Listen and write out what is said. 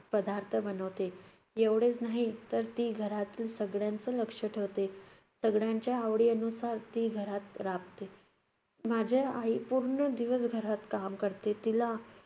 पदार्थ बनवते. एवढेच नाही, तर ती घरातील सगळ्यांचं लक्ष ठेवते, सगळ्यांच्या आवडीयनुसार ती घरात राबते. माझी आई पूर्ण दिवस घरात काम करते. तिला